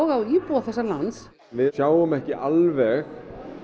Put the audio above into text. á íbúa þessa lands við sjáum ekki alveg